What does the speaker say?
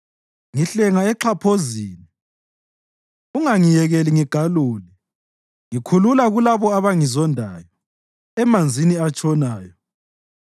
Ngihlenga exhaphozini, ungangiyekeli ngigalule; ngikhulula kulabo abangizondayo, emanzini atshonayo.